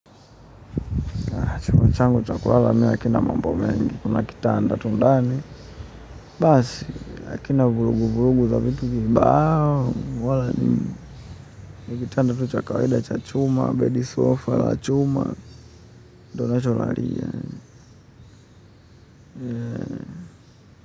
Chumba changu cha kulala hakina mambo mengi. Kuna kitanda tu ndani. Basi, hakina vurugu vurugu za vitu kibao. Wala ni kitanda tuchakawida cha chuma, bedi sofa la chuma. Ndo nacholalia yani.